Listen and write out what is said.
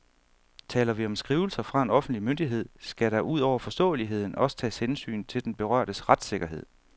Taler vi om skrivelser fra en offentlig myndighed, skal der ud over forståeligheden også tages hensyn til den berørtes retssikkerhed.